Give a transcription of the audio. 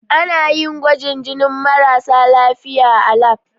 Ana yin gwajin jinin marasa lafiya a lab.